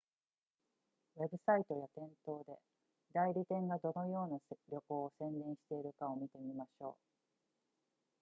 ウェブサイトや店頭で代理店がどのような旅行を宣伝しているかを見てみましょう